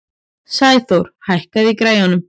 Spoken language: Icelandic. Sæþór, hækkaðu í græjunum.